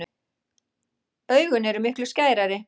Augun eru miklu skærari.